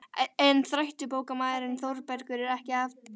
En þrætubókarmaðurinn Þórbergur er ekki af baki dottinn.